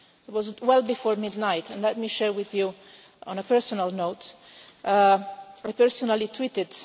It was well before midnight, and let me share something with you on a personal note I personally tweeted.